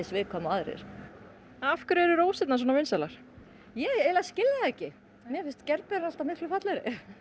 viðkvæm og aðrir af hverju eru rósir svona vinsælar ég eiginlega skil það ekki mér finnst gerberur alltaf miklu fallegri